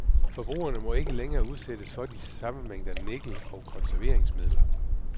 Forbrugerne må ikke længere udsættes for de samme mængder af nikkel og konserveringsmidler.